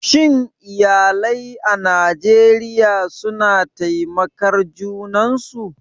Shin iyalai a Najeriya suna taimakar junan su?